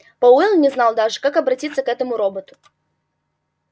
пауэлл не знал даже как обратиться к этому роботу